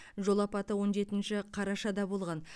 жол апаты он жетінші қарашада болған